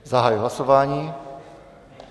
Zahajuji hlasování.